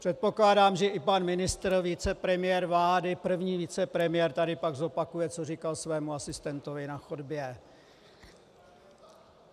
Předpokládám, že i pan ministr, vicepremiér vlády, první vicepremiér, tady pak zopakuje, co říkal svému asistentovi na chodbě.